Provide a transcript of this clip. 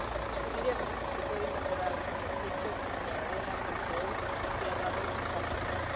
Discutiremos si se pueden mejorar algunos aspectos, pero enhorabuena porque hoy se ha dado un paso más.